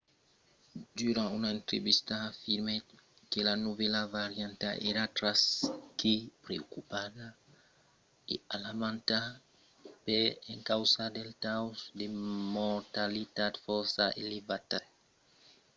durant una entrevista afirmèt que la novèla varianta èra tras que preocupanta e alarmanta per encausa del taus de mortalitat fòrça elevat.